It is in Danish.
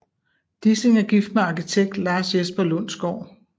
Dissing er gift med arkitekt Lars Jesper Lundsgaard